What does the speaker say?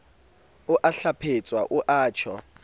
o a hlwephetsa o tjho